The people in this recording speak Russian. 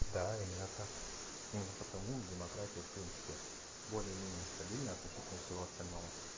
да именно так именно потому демократию в принципе более-менее стабильно относительно всего остального